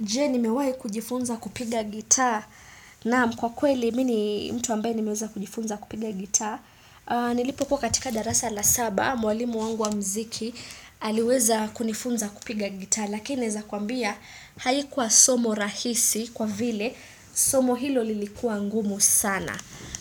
Je nimewahi kujifunza kupiga gitaa naam kwa kweli mimi ni mtu ambaye nimeweza kujifunza kupiga gita Nilipokuwa katika darasa la saba mwalimu wangu wa mziki aliweza kunifunza kupiga gitaa Lakini naeza kuambia haikuwa somo rahisi kwa vile somo hilo lilikuwa ngumu sana